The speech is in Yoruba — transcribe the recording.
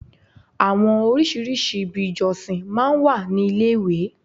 Àwọn orísìírísìí ibi ìjọsìn máa ń wà ní ilé ìwé.